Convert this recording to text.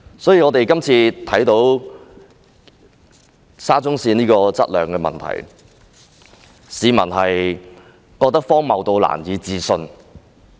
所以，這次沙田至中環線質量的問題，市民覺得荒謬得難以置信。